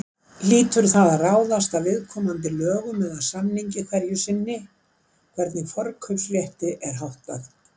Hlýtur það að ráðast af viðkomandi lögum eða samningi hverju sinni hvernig forkaupsrétti er háttað.